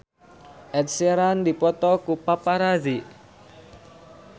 Ed Sheeran dipoto ku paparazi